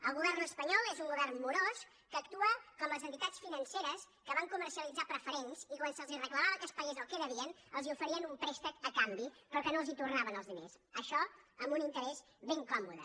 el govern espanyol és un govern morós que actua com les entitats financeres que van comercialitzar preferents i quan se’ls reclamava que es pagués el que devien els oferien un préstec a canvi però no els tornaven els diners això amb un interès ben còmode